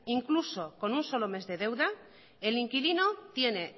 incluso con un solo mes de deuda el inquilino tiene